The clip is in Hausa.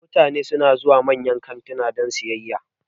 Mutane suna zuwa manyan kantuna don sayayya